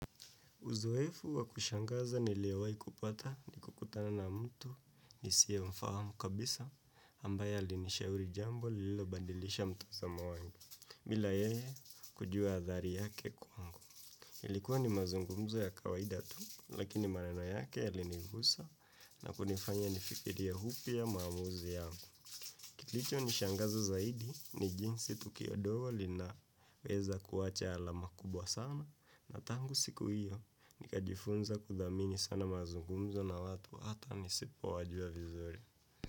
Uzoefu wa kushangaza niliowahi kupata ni kukutana na mtu nisiye mfahamu kabisa ambaye alinishauri jambo lililobadilisha mtazamo wangu. Bila yeye kujua athari yake kwangu. Ilikuwa ni mazungumzo ya kawaida tu lakini maneno yake yalinigusa na kunifanya nifikirie upya maamuzi yangu. Kilicho nishangazo zaidi ni jinsi tukio dogo linaweza kuacha alama kubwa sana na tangu siku hiyo nikajifunza kudhamini sana mazungumzo na watu hata nisipo wajua vizuri.